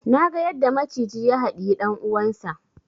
Naga yadda maciji ya haɗiyi dan uwansa